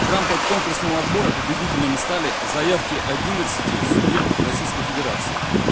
в рамках конкурсного отбора победителями стали заявки одиннадцати субъектов российской федерации